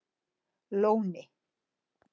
Lóni